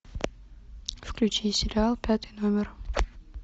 включи сериал пятый номер